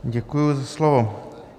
Děkuji za slovo.